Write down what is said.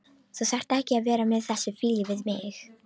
Þú þarft ekki að vera með þessa fýlu við mig.